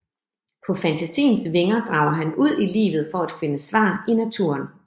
På fantasiens vinger drager han ud i livet for at finde svar i naturen